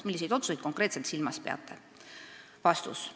Milliseid otsuseid konkreetselt silmas peate?